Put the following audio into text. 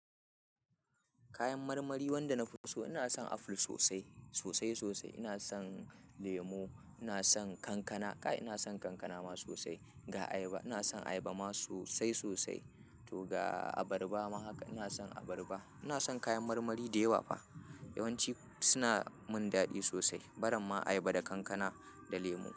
Kayan marmari wanda na fi so, ina son aful sosai, sosai-sosai. Ina son, lemo, ina son kankana, kai ina son kankana ma sosai. Ga ayaba, ina son ayaba ma sosai sosai. To ga abarba ma haka, ina son abarba. Ina son kayan marmari da yawa fa. Yawanci, suna mun daɗi sosai. Barin ma ayaba da kankana, da lemo.